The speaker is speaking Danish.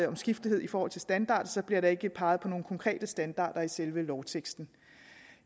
omskiftelighed i forhold til standarder bliver der ikke peget på nogen konkrete standarder i selve lovteksten